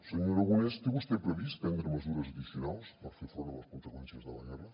senyor aragonès té vostè previst prendre mesures addicionals per fer front a les conseqüències de la guerra